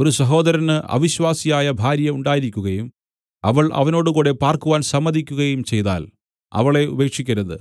ഒരു സഹോദരന് അവിശ്വാസിയായ ഭാര്യ ഉണ്ടായിരിക്കുകയും അവൾ അവനോടുകൂടെ പാർക്കുവാൻ സമ്മതിക്കുകയും ചെയ്താൽ അവളെ ഉപേക്ഷിക്കരുത്